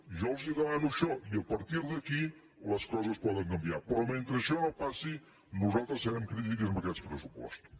jo els demano això i a partir d’aquí les coses poden canviar però mentre això no passi nosaltres serem crítics amb aquests pressupostos